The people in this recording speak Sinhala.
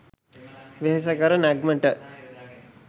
වෙහෙසකර නැග්මට